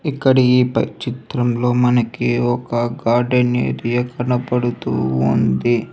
ఇక్కడి ఈ చిత్రంలో మనకి ఒక కార్ట్ అనేది కనబడుతూ ఉంది.